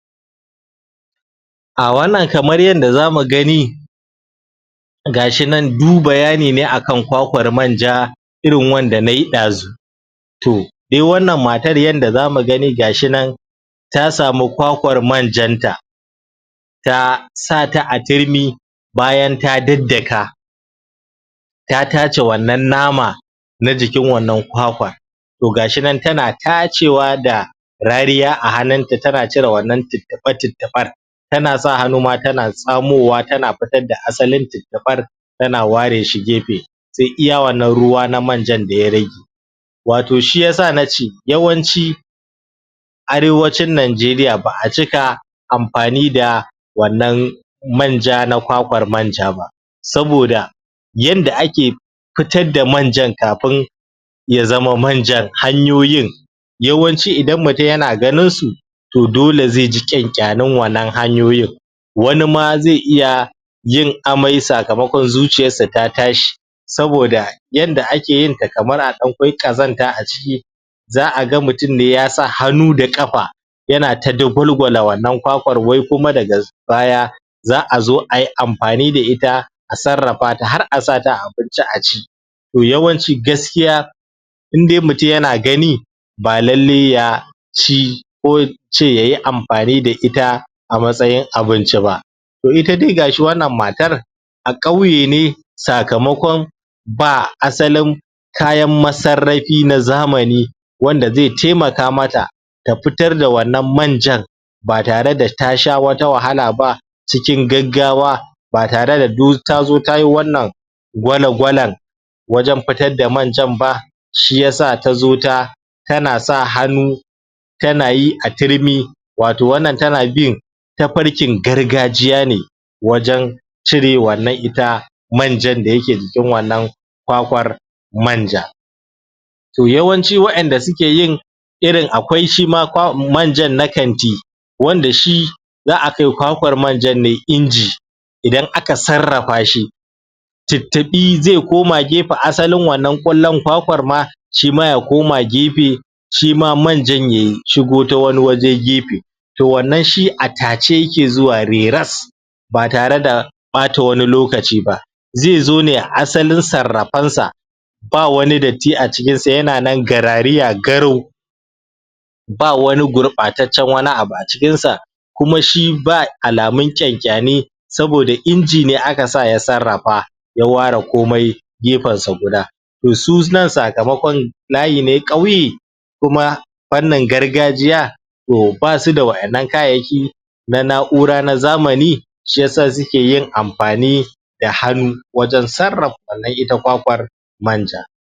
Ah wannan kamar yanda zamu gani gashi nan du bayani ne akan kwakwar manja irin wanda nayi ɗazun toh dai wannan matar yanda zamu gani gashi nan ta samu kwakwar manjan ta ta sa ta a turmi bayan ta daddaka ta taace wannan nama na jikin wannan kwakwa toh gashi nan tana taacewa da rariya a hannunta tana cire wannan tuttuɓa-tuttuɓar tana sa hannu ma tana tsamowa tana fitar da asalin tuttuɓar tana ware shi gefe sai iya wannan ruwa na manjan da ya rage wato shiyasa nace yawanci arewacin najeriya ba'a cika amfani da wannan manja na kwakwar manja ba saboda yanda ake fitar da manjan kafin ya zama manjan hanyoyin yawanci idan mutum yana ganin su toh dole zai ji ƙyanƙyanin wannan hanyoyin wani ma zai iya yin amai sakamakon zuciyarsa ta tashi saboda yanda ake yinta kamar a ɗan kwai ƙazanta a ciki za'a ga mutum ne yasa hannu da ƙafa yanata dagwalgwala wannan kwakwar wai kuma da baya za'a zo ayi amfani da ita a sarrafata har asa ta a abinci a ci toh yawanci gaskiya indai mutum yana gani ba lallai ya ci ko in ce yayi amfani da ita a matsayin abinci ba toh ita dai gashi wannan matar a ƙauye ne sakamakon ba asalin kayan ma sarrafi na zamani wanda zai taimaka mata ta fitar da wannan manjan ba tare da ta sha wata wahala ba cikin gaggawa ba tare da du tazo tayi wannan gwanegwalan wajen fitar da manjan ba shiyasa tazo ta tana sa hannu tana yi a turmi wato wannan tana bin tafarkin gargajiya ne wajen cire wannan ita manjan da yake jikin wannan kwakwar manja toh yawanci wa'inda suke yin irin akwai shima kwa manjan na kanti wanda shi za'a kai kwakwar manjan ne inji idan aka sarrafa shi tuttuɓi zai koma gefen asalin wannan ƙwallon kwakwar ma shima ya koma gefe shima manjan ye shigo ta wani waje gefe toh wannan shi a taace yake zuwa reras ba tare da ɓata wani lokaci ba zai zo ne a asalin sarrafensa ba wani datti acikin sa yana nan garariya garau ba wani gurɓataccen wani abu acikin sa kuma shi ba alamun ƙyanƙya ni saboda inji ne aka sa ya sarrafa ya ware komai gefen sa guda toh su nan sakamakon layi ne ƙauye kuma fannin gargajiya toh basu da wa'innan kayayyaki na na'ura na zamani shiyasa suke yin amfani da hannu wajen sarrafa wannan ita kwakwar manja